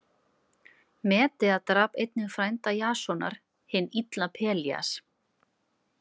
Medea drap einnig frænda Jasonar, hinn illa Pelías.